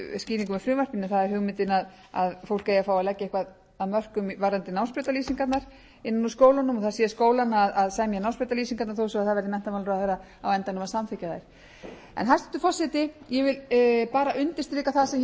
það er hugmyndin að fólk eigi að fá að leggja eitthvað af mörkum varðandi námsbrautarlýsingarnar innan úr skólunum það sé skólanna að semja námsbrautarlýsingarnar þó svo að það verði menntamálaráðherra á endanum að samþykkja þær hæstvirtur forseti ég vil bara undirstrika það sem ég hef